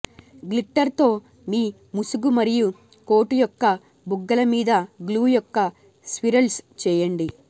glitter తో మీ ముసుగు మరియు కోటు యొక్క బుగ్గలు మీద గ్లూ యొక్క స్విరల్స్ చేయండి